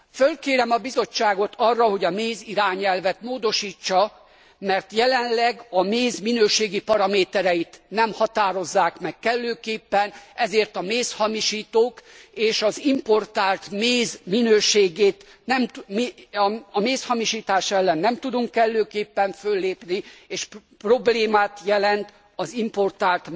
Fölkérem a Bizottságot arra, hogy a mézirányelvet módosítsa, mert jelenleg a méz minőségi paramétereit nem határozzák meg kellőképpen, ezért a mézhamisítók és a mézhamisítás ellen nem tudunk kellőképpen föllépni, és problémát jelent az importált